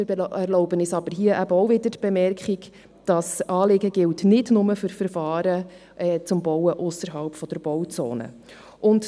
Wir erlauben uns aber auch hier wieder die Bemerkung, dass das Anliegen nicht nur für Verfahren zum Bauen ausserhalb der Bauzone gilt.